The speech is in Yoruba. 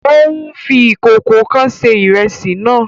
Ó ń fi ìkòkò kan se ìrẹsì náà